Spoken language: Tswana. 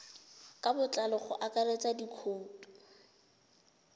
ka botlalo go akaretsa dikhoutu